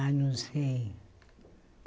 Ah, não sei.